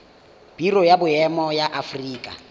biro ya boemo ya aforika